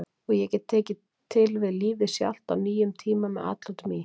og ég gætum tekið til við Lífið Sjálft á nýjum tíma með atlotum í